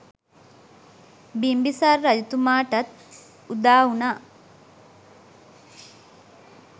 බිම්බිසාර රජතුමාටත් උදාවුනා.